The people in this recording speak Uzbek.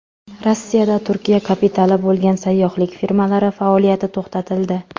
Rossiyada Turkiya kapitali bo‘lgan sayyohlik firmalari faoliyati to‘xtatildi.